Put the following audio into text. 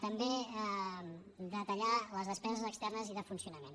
també detallar les despeses externes i de funcionament